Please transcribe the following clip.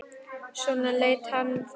Svona leit hann þá út.